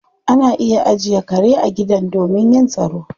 Ana iya ajiye kare a gidan domin yin tsaro